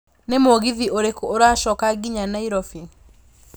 nĩ mũgithi ũrikũ ũracoka nginya nairobi